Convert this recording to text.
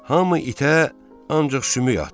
Hamı itə, ancaq sümük atdı.